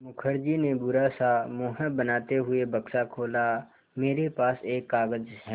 मुखर्जी ने बुरा सा मुँह बनाते हुए बक्सा खोला मेरे पास एक कागज़ है